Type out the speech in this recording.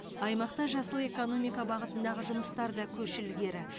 аймақта жасыл экономика бағытындағы жұмыстар да көш ілгері